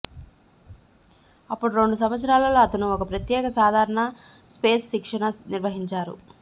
అప్పుడు రెండు సంవత్సరాలలో అతను ఒక ప్రత్యేక సాధారణ స్పేస్ శిక్షణ నిర్వహించారు